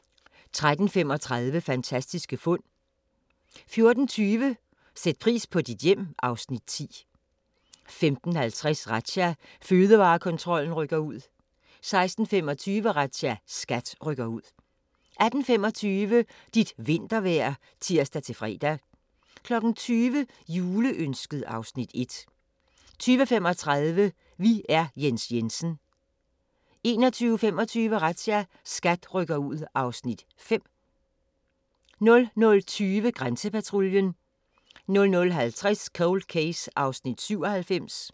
13:35: Fantastiske fund 14:20: Sæt pris på dit hjem (Afs. 10) 15:50: Razzia – Fødevarekontrollen rykker ud 16:25: Razzia – SKAT rykker ud 18:25: Dit vintervejr (tir-fre) 20:00: Juleønsket (Afs. 1) 20:35: Vi er Jens Jensen 21:25: Razzia – SKAT rykker ud (Afs. 5) 00:20: Grænsepatruljen 00:50: Cold Case (97:156)